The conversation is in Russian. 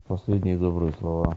последние добрые слова